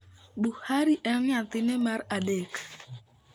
Buhari en nyathine mar adek.